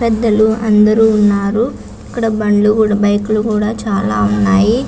పెద్దలు అందరు ఉనారు ఇక్కడ బండ్లు కూడ బైక్ లు కూడ చాల ఉన్నాయి.